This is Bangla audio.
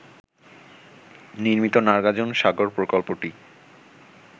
নির্মিত নাগার্জুন সাগর প্রকল্পটি